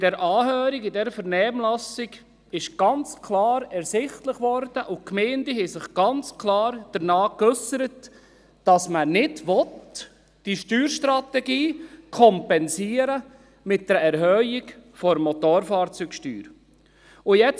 Bei der Anhörung, bei der Vernehmlassung wurde ganz klar sichtbar – und die Gemeinden äusserten sich ganz klar dementsprechend –, dass man diese Steuerstrategie nicht mit der Erhöhung der Motorfahrzeugsteuer kompensieren will.